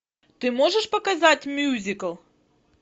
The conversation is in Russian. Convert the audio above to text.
ты можешь показать мюзикл